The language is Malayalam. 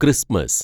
ക്രിസ്മസ്